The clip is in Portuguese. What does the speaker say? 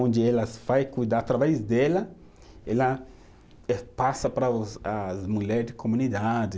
Onde ela vai cuidar, através dela, ela eh passa para os, as mulheres de comunidade.